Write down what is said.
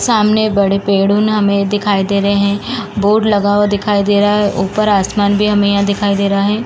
सामने बड़े पेडून हमें दिखाई दे रहे हैं। बोर्ड लगा हुआ दिखाई दे रहा है। ऊपर आसमान भी हमें यहाँ दिखाई दे रहा है।